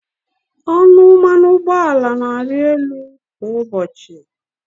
Ọnụ mmanụ ụgbọala na-arị elu kwa ụbọchị.